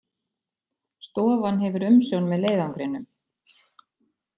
Stofan hefur umsjón með leiðangrinum